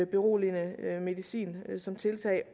beroligende medicin som tiltag